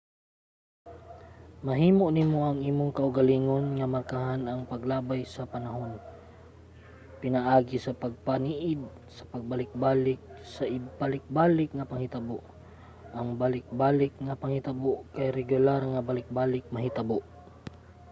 mahimo nimo sa imong kaugalingon nga markahan ang paglabay sa panahon pinaagi sa pagpaniid sa pagbalikbalik sa balik-balik nga panghitabo. ang balik-balik nga panghitabo kay regular nga balik-balik mahitabo